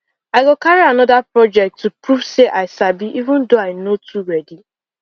i go carry another project to prove say i sabi even though i no too ready